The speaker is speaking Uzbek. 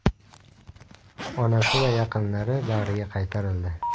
Onasi va yaqinlari bag‘riga qaytarildi.